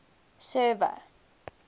server